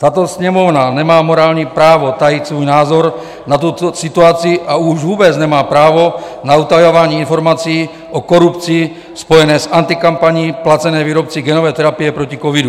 Tato Sněmovna nemá morální právo tajit svůj názor na tuto situaci a už vůbec nemá právo na utajování informací o korupci spojené s antikampaní placenou výrobci genové terapie proti covidu.